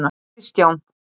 Kristján